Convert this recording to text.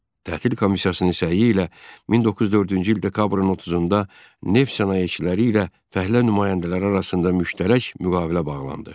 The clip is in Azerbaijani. Tətil komissiyasının səyi ilə 1904-cü il dekabrın 30-da neft sənayeçiləri ilə fəhlə nümayəndələri arasında müştərək müqavilə bağlandı.